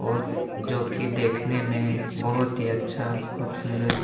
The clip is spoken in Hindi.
और जो की देखने में बहोत ही अच्छा खूबसूरत --